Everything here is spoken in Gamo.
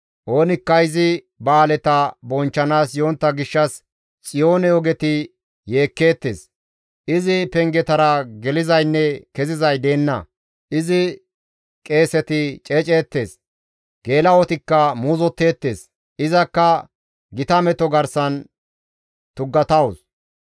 Oonikka izi ba7aaleta bonchchanaas yontta gishshas Xiyoone ogeti yeekkeettes; izi pengetara gelizaynne kezizay deenna; izi qeeseti ceeceettes; geela7otikka muuzotteettes; izakka gita meto garsan tuggatawus.